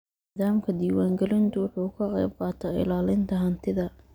Nidaamka diiwaangelintu wuxuu ka qaybqaataa ilaalinta hantida.